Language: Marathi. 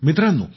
मित्रांनो